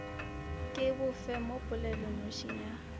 ke bofe mo polelonošing ya